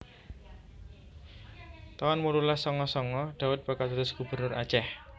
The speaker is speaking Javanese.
taun wolulas sanga sanga Daud bakal dados Gubernur Aceh